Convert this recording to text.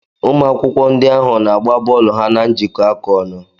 Ụmụ akwụkwọ ahụ na-agba bọọlu ha na njikọaka ọnụ.